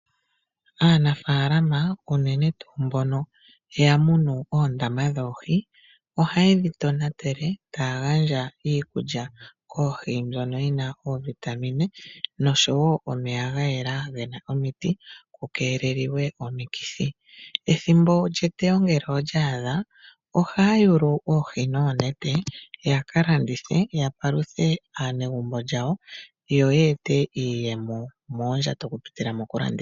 Aanafalama unene tuu mbono ya munu oohi muundama ohaye dhi tonatele yo taa gandja iikulya koohi mbyoka yi na oovitamine noshowo omeya ga yela ge na omiti ku keelelwa omikithi. Ethimbo lyetewo ngele olya adha ohaya yulu oohi noonete ya ka ya paluthe aanegumbo yawo nenge ya ka landithe yo ye ete iiyemo moondjato dhawo okupitila mokulanditha.